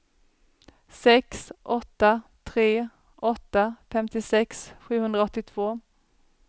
sex åtta tre åtta femtiosex sjuhundraåttiotvå